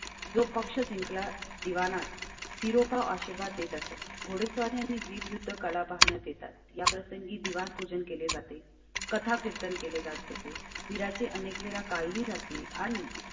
जो पक्ष जिंकला दिवाणांत सिरोपा आशीर्वाद देत असतात. घोडेस्वारी आणि विरूद्ध कला पाहण्यात येतात. या प्रसंगी दिवाणी पूजन केले जाते. कथा कीर्तन केले जाते. बिरांची अनेक वेळा काही जाती आणि.